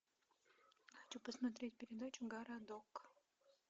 хочу посмотреть передачу городок